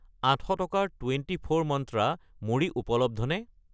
800 টকাৰ twenty four মন্ত্ৰা মুড়ি উপলব্ধ নে?